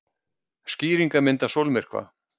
Skýringarmynd af sólmyrkva.